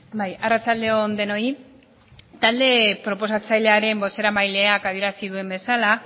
bai arratsalde on denoi talde proposatzailearen bozeramaileak adierazi duen bezala